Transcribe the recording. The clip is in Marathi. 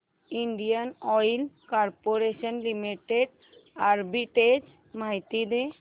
Indian Oil Corporation Limited arbitrage माहिती दे